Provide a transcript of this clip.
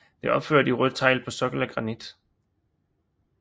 Det er opført i rødt tegl på en sokkel af granit